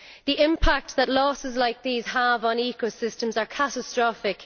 The impact that losses like these have on ecosystems is catastrophic.